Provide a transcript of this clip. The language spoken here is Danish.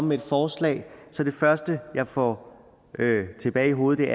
med et forslag er det første jeg får tilbage i hovedet